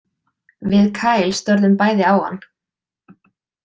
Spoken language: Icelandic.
Við Kyle störðum bæði á hann.